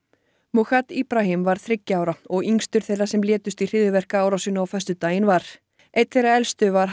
mucad Ibrahim var þriggja ára og yngstur þeirra sem létust í hryðjuverkaárásinni á föstudaginn var enn þeirra elstu var